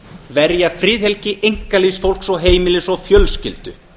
verja friðhelgi einkalífs fólks og heimilis og fjölskyldu